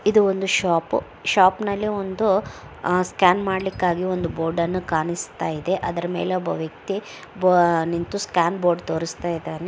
ಇದು ಒಂದು shop shop ನಲ್ಲಿ ಒಂದು ಆ ಸ್ಕ್ಯಾನ್ ಮಾಡಲಿಕ್ಕಾಗಿ ಒಂದು ಬೋರ್ಡ್ ಅನ್ನು ಕಾಣಿಸ್ತಾ ಇದೆ. ಅದರಲ್ಲಿ ಒಬ್ಬ ವ್ಯಕ್ತಿ ನಿಂತು ಸ್ಕ್ಯಾನ್ ಬೋರ್ಡ್ ತೋರಿಸ್ತಾಯಿದಾನೆ.